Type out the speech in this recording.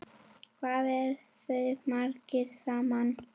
Hvað eru þeir margir saman?